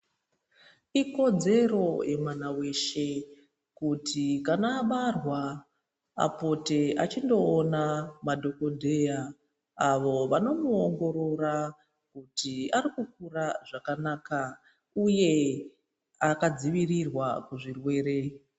Ikodzero yemwana weshe kuti kana abarwa apote achindowona madhokodheya. Avo vanomuwongorora kuti arikukura zvakanaka, uye akadzivirirwa kuzvirwere.